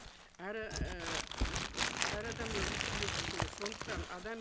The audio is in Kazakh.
әр і м әр адам өмір сүруге құқылы сондықтан адам